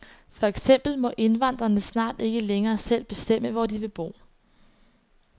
For eksempel må indvandrerne snart ikke længere selv bestemme, hvor de vil bo.